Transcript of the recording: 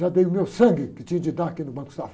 Já dei o meu sangue que tinha de dar aqui no Banco Safra.